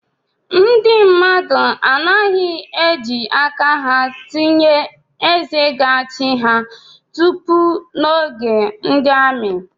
Ndị mmadụ anaghị eji aka ha tinye eze ga-achị ha tupu n’oge ndi amị